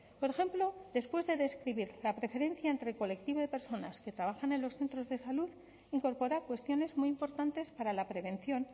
por ejemplo después de describir la preferencia entre colectivos de personas que trabajan en los centros de salud incorpora cuestiones muy importantes para la prevención